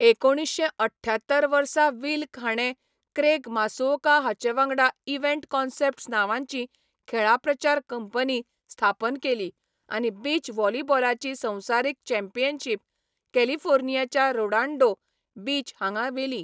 एकुणीश्शें अठठ्यात्तर वर्सा विल्क हाणें क्रेग मासुओका हाचेवांगडा इव्हेंट कॉन्सेप्ट्स नांवाची खेळां प्रचार कंपनी स्थापन केली आनी बीच व्हॉलीबॉलाची संवसारीक चॅम्पियनशीप कॅलिफोर्नियाच्या रेडोन्डो बीच हांगा व्हेली.